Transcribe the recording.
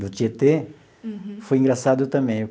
do Tietê, foi engraçado também.